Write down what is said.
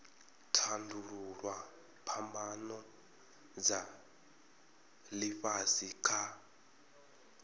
tandululwa phambano dza ifhasi kha